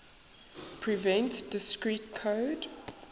prevent discrete code